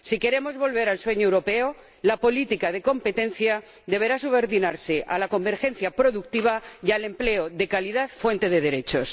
Si queremos volver al sueño europeo, la política de competencia deberá subordinarse a la convergencia productiva y al empleo de calidad, fuente de derechos.